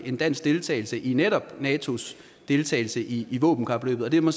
en dansk deltagelse i netop natos deltagelse i våbenkapløbet og det må